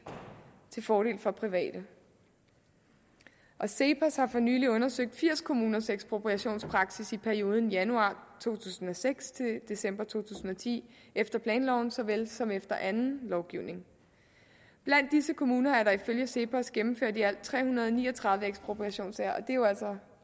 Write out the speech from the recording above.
til fordel for private cepos har for nylig undersøgt firs kommuners ekspropriationspraksis i perioden januar to tusind og seks til december to tusind og ti efter planloven så vel som efter anden lovgivning blandt disse kommuner er der ifølge cepos gennemført i alt tre hundrede og ni og tredive ekspropriationssager det er jo altså